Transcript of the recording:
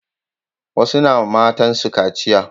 Wasu na ma matan su kaciya